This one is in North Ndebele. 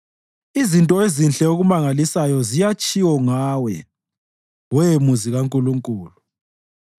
Izinto ezinhle okumangalisayo ziyatshiwo ngawe, we muzi kaNkulunkulu: